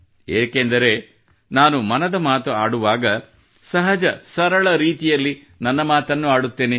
ಏಕೆಂದರೆ ನಾನು ಮನದ ಮಾತು ಆಡುವಾಗ ಸಹಜಸರಳ ರೀತಿಯಲ್ಲಿ ನನ್ನ ಮಾತನ್ನು ಆಡುತ್ತೇನೆ